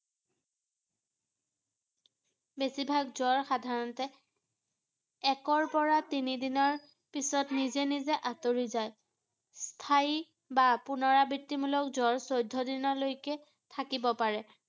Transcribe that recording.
বেছিভাগ জ্বৰ সাধাৰণতে একৰ পৰা তিনি দিনৰ পিছত নিজে নিজে আঁতৰি যায় ৷ স্থায়ী বা পুনৰাবৃত্তিমূলক জ্বৰ চৈধ্য দিনৰ লৈকে থাকিব পাৰে ৷